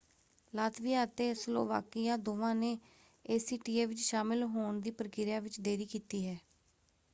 Latvia ਅਤੇ Slovakia ਦੋਵਾਂ ਨੇ ਏਸੀਟੀਏ ਵਿੱਚ ਸ਼ਾਮਲ ਹੋਣ ਦੀ ਪ੍ਰਕਿਰਿਆ ਵਿੱਚ ਦੇਰੀ ਕੀਤੀ ਹੈ।